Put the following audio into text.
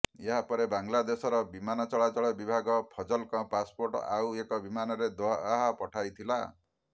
ଏହାପରେ ବାଂଲାଦେଶର ବିମାନ ଚଳାଚଳ ବିଭାଗ ଫଜଲଙ୍କ ପାସପୋର୍ଟ ଆଉ ଏକ ବିମାନରେ ଦୋହା ପଠାଇଥିଲା